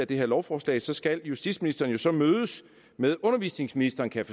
det her lovforslag så skal justitsministeren jo så mødes med undervisningsministeren kan